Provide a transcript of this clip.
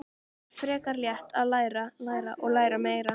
Það var frekar létt: að læra, læra og læra meira.